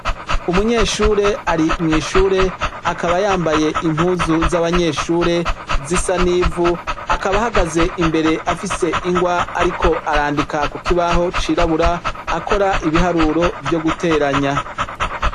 Umunyeshure ari mw'ishure, akaba yambaye impuzu z'abanyeshure zisa n'ivu, akaba ahagaze imbere afise ingwa ariko arandika ku kibaho cirabura, akora ibiharuro vyo guteranya.